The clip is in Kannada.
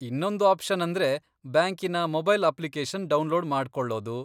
ಇನ್ನೊಂದು ಆಪ್ಶನ್ ಅಂದ್ರೆ ಬ್ಯಾಂಕಿನ ಮೊಬೈಲ್ ಅಪ್ಲಿಕೇಶನ್ ಡೌನ್ಲೋಡ್ ಮಾಡ್ಕೊಳ್ಳೋದು.